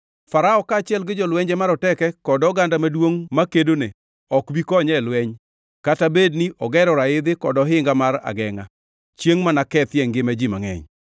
Farao kaachiel gi jolwenje maroteke kod oganda maduongʼ makedone ok bi konye e lweny, kata bed ni ogero raidhi kod ohinga mar agengʼa chiengʼ ma nakethie ngima ji mangʼeny.